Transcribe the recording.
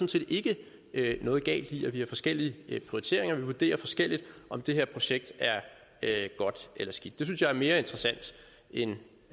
set ikke noget galt i at vi har forskellige prioriteringer og at vi vurderer forskelligt om det her projekt er er godt eller skidt det synes jeg er mere interessant end